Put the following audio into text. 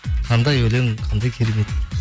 қандай өлең қандай керемет